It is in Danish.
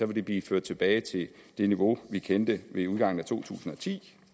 det blive ført tilbage til det niveau vi kendte ved udgangen af to tusind og ti